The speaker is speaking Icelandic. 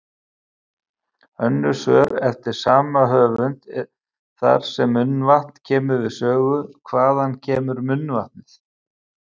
Önnur svör eftir sama höfund þar sem munnvatn kemur við sögu: Hvaðan kemur munnvatnið?